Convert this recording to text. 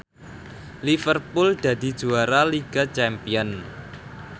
Liverpool dadi juara liga champion